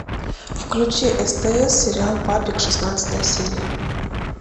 включи стс сериал папик шестнадцатая серия